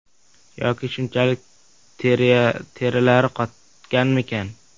Yoki shunchalik terilari qotganmikan?